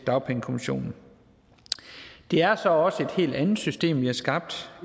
dagpengekommissionen det er så også et helt andet system vi har skabt